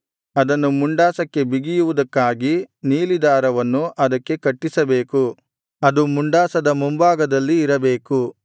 ಅದನ್ನು ಮುಂಡಾಸಕ್ಕೆ ಬಿಗಿಯುವುದಕ್ಕಾಗಿ ನೀಲಿ ದಾರವನ್ನು ಅದಕ್ಕೆ ಕಟ್ಟಿಸಬೇಕು ಅದು ಮುಂಡಾಸದ ಮುಂಭಾಗದಲ್ಲಿ ಇರಬೇಕು